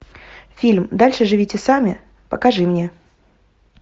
фильм дальше живите сами покажи мне